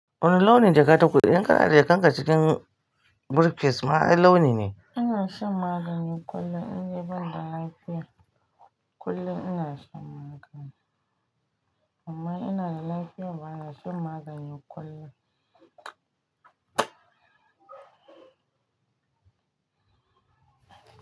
Wani launi jaka tafi? In ka hada ka aje jakar ka cikin briefcase ma ai launi ne? Ina shan magani kullum. In de ban da lafiya kullum ina shan magani. Amma in ina da lafiya bana shan magani kullum.